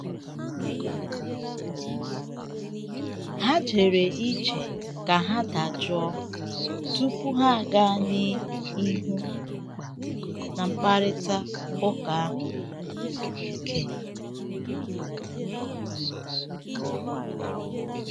Ha jere ije ka ha dajụọ tupu ha aga n'ihu na mkparịta um ụka ahụ siri um ike.